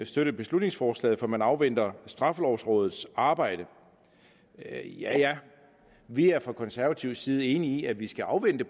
støtte beslutningsforslaget for man afventer straffelovrådets arbejde ja ja vi er fra konservativ side enige i at vi skal afvente